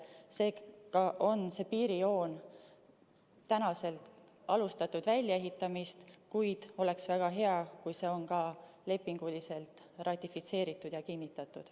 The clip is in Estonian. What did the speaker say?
Seega on selle piirijoone väljaehitamist tänaseks alustatud, kuid oleks väga hea, kui see oleks ka lepinguliselt ratifitseeritud ja kinnitatud.